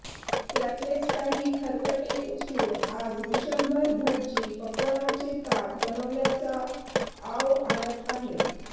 त्यातलेच काही खरकटे उचलून आज विश्वंभर भटजी पक्वान्नाचे ताट बनवल्याचा आव आणत आहेत